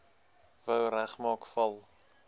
wou regmaak val